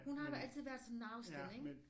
Hun har altid været sådan en afstand ikke